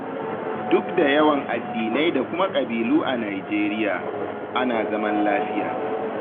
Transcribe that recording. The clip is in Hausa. Duk da yawan addinai da kuma ƙabilu a Nijeriya, ana zaman lafiya.